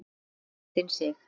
Þín Kristín Sig.